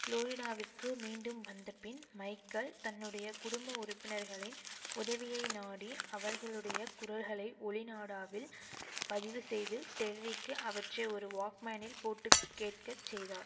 புளோரிடாவிற்கு மீண்டும் வந்தபின் மைக்கல் தன்னுடைய குடும்ப உறுப்பினர்களின் உதவியை நாடி அவர்களுடைய குரல்களை ஒலிநாடாவில் பதிவு செய்து டெர்ரிக்கு அவற்றை ஒரு வாக்மேனில் போட்டு கேட்கச் செய்தார்